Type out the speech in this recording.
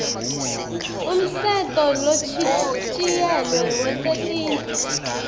umtsetfo lochitjiyelwe wetetindlu